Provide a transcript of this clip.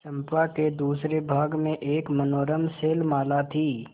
चंपा के दूसरे भाग में एक मनोरम शैलमाला थी